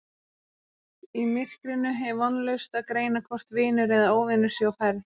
Í myrkrinu er vonlaust að greina hvort vinur eða óvinur sé á ferð